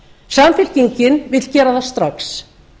samfylkingin vill gera það strax